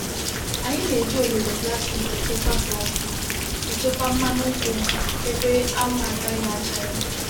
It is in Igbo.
Anyi na-eji ololo plastic echekwa plastic echekwa mmanu nkwu ebe anwu agaghi acha ya.